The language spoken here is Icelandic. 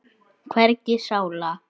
En við biðum bara.